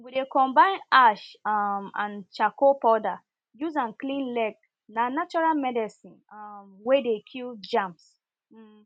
we dey combine ash um and charcoal powder use am clean leg na natural medicine um wer dey kill germs um